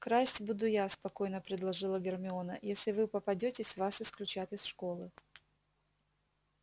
красть буду я спокойно предложила гермиона если вы попадётесь вас исключат из школы